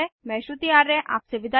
मैं श्रुति आर्य आपसे विदा लेती हूँ